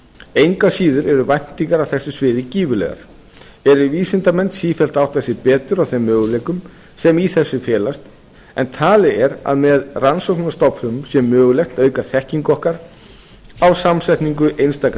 engu að síður eru væntingar á þessu sviði gífurlegar eru vísindamenn sífellt að átta sig betur á þeim möguleikum sem í þessu felast en talið er að með rannsóknum á stofnfrumum sé mögulegt að auka þekkingu okkar á samsetningu einstakra